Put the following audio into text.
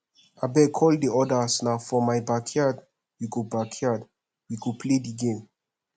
abeg call the others na for my backyard we go backyard we go play the game